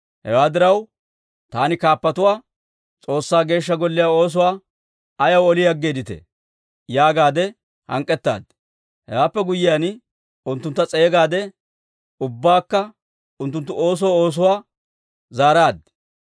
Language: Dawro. Hewaa diraw, taani kaappatuwaa, «S'oossaa Geeshsha Golliyaa oosuwaa ayaw oli aggeeditee?» yaagaade hank'k'ettaadi. Hewaappe guyyiyaan, unttuntta s'eegaade ubbaakka unttunttu oosoo oosuwaa zaaraad.